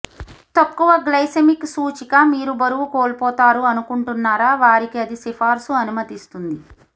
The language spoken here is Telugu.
తక్కువ గ్లైసెమిక్ సూచిక మీరు బరువు కోల్పోతారు అనుకుంటున్నారా వారికి అది సిఫార్సు అనుమతిస్తుంది